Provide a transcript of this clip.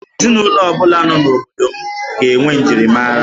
Ezinụlọ ọ bụla nọ n'obodo m ga-enwe njirimara